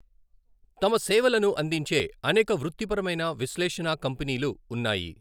తమ సేవలను అందించే అనేక వృత్తిపరమైన విశ్లేషణా కంపెనీలు ఉన్నాయి.